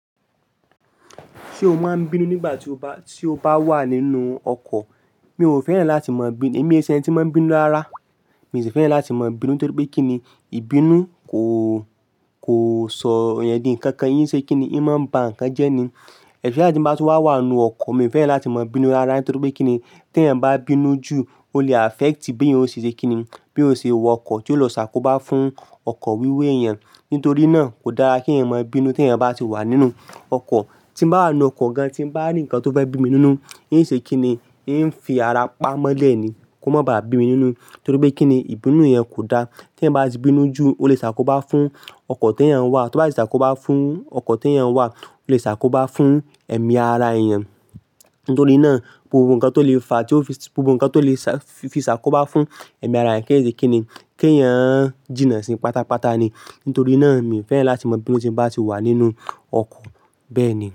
Ṣé o máa ń bínú nígbà tí o bá, tí o bá wà nínú ọkọ̀? Mi ò fẹ́ràn láti mọ̀ bínú, èmi ṣe ẹni tí ń mọ bínú rárá. Mi sì fẹ́ràn láti mọ̀ bínú torí pé kí ni, ìbínú kò, sọ èèyàn dí nǹkan kan í ṣe kí ni, í máa ń ba nǹkan jẹ́ ni. Especially tí mo bá wà nínú ọkọ̀, mi ò fẹ́ràn láti mọ̀ bínú rárá torí pé kí ni, tí ẹeeyan bá bínú jù, ó lè affect bí èèyàn ó ṣe kí ni, bí o ṣe w'ọkọ̀, tí ó lọ ṣàkóbá fún ọkọ̀ wíwa eeyan. Nítorí náà kò dára kí eeyan mọ̀ bínú tí èèyàn bá ti wà nínú ọkọ̀. Tí mo bá wà nínú ọkọ̀ gan-an, tí mo bá rí ǹkan tó fẹ́ bí mi nínú, i n ṣe kí ni? I ń fi ara pamọ́ lẹ̀ ni kó má bá bí mi nínú torí pé kí ni, ìbínú yẹn kò dá. Tí ẹ̀yin bá ti bínú jù ó lè ṣàkóbá fún ọkọ̀ t'eeyan n wà, tó bá ti ṣàkóbá fún ọkọ̀ t'eeyan wà, ó lè ṣàkóbá fún ẹ̀mí ara eeyan Nítorí náà gbogbo ǹkan tó lè fa, tí ó fi, gbogbo ǹkan tó lè fi ṣàkóbá fún ẹ̀mí ara ẹni kì í ṣe kí ni, kí eeyan jìnnà sí pátápátá ni. Nítorí náà mi ò fẹ́ràn láti mọ̀ bínú tí mo bá ti wà nínú ọkọ̀ bẹ́ẹ̀ ni.